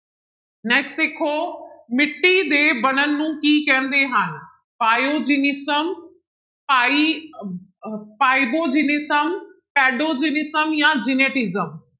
Next ਦੇਖੋ ਮਿੱਟੀ ਦੇ ਬਣਨ ਨੂੰ ਕੀ ਕਹਿੰਦੇ ਹਨ ਪਾਇਓਜੀਨਿਸਮ ਪਾਈ ਪਾਇਬੋਜੈਨਿਸਮ, ਪੈਡੋਜੈਨਿਸਮ ਜਾਂ ਜੈਨੇਟਿਸਮ